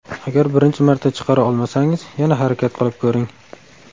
Agar birinchi marta chiqara olmasangiz, yana harakat qilib ko‘ring.